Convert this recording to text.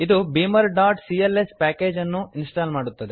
ಇದು beamer dot C L S package ಅನ್ನು install ಮಾಡುತ್ತದೆ